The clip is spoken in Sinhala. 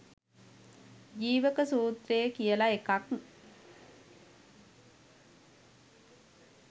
ජීවක සූත්‍රය කියල එකක්